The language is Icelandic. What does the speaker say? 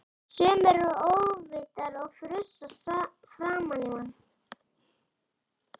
Sumir eru óvitar og frussa framan í mann!